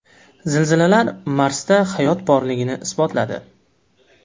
Zilzilalar Marsda hayot borligini isbotladi.